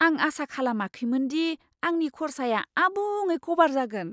आं आसा खालामाखैमोन दि आंनि खर्साया आबुङै कभार जागोन।